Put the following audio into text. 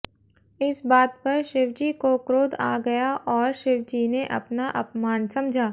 इस बात पर शिवजी को क्रोध आ गया और शिवजी ने अपना अपमान समझा